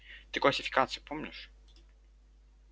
ты классификацию помнишь